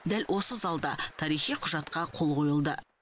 дәл осы залда тарихи құжатқа қол қойылды